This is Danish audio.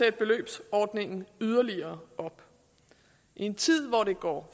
i beløbsordningen yderligere op i en tid hvor det går